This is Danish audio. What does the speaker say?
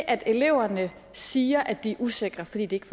at eleverne siger at de er usikre fordi de ikke